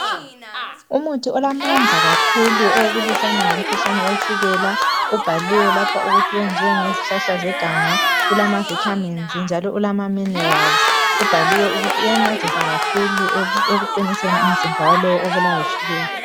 Umuthi olamandla kakhulu ekulwiseni umkhuhlane wetshukela ubhaliwe ukuthi wenze ngezihlahla zeganga ulamavithamini lamaminerali. Ubhaliwe ukuthi uyaqinisa umzimba walowo obulawa yitshukela.